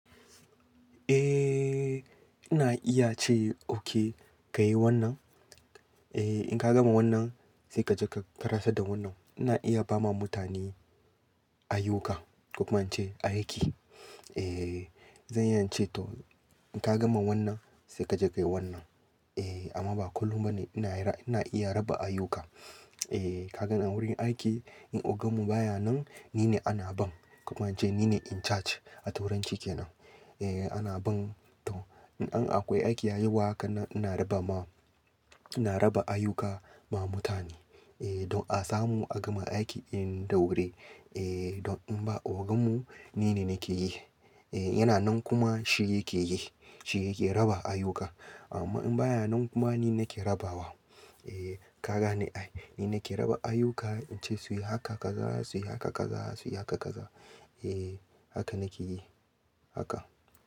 Eh, ina iya ce okay ka yi wannan. Eh, in ka gama wannan sai ka je ka karasa da wannan. Ina iya ba ma mutane ayyuka, kuma in ce aiki. Eh, zan iya ce to in ka gama wannan sai ka je ka yi wannan. Eh, amma ba kullum ba ne ina ina iya raba ayuka. Eh, ka gan a wurin aiki in ogan mu baya nan ni ne ana ban, kuma in ce ni ne in charge a turanci kenan. Eh, ana ban to, in har akwai aiki a yi wa haka ina raba ma, ina raba ayuka ma mutane. Eh, don a samu a gama aikin da wuri. Eh, don in ba ogan mu ni ne nake yi. Eh, yana nan kuma shi yake yi, shi yake raba ayuka. Amma in baya nan kuma ni nake rabawa. Eh, ka gane ai ni nake raba ayuka in ce su yi haka kaza, su yi haka kaza, su yi haka kaza. Eh, haka nake yi haka.